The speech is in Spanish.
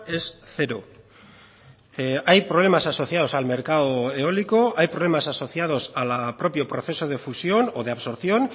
es cero hay problemas asociados al mercado eólico hay problemas asociados al propio proceso de fusión o de absorción